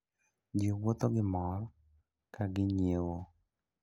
Ji wuotho gi mor kaginyiewo.